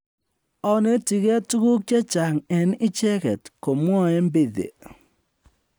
"Anetigei tuguk chechang en icheget,"komwae Mbithe